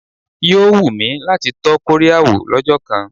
Yóò wù mí láti tọ́ Kóríà wò lọ́jọ́ kan.